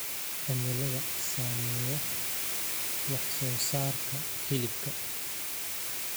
Cimilada saameeya wax soo saarka hilibka.